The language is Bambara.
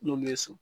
N'olu ye so